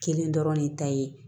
Kelen dɔrɔn de ta ye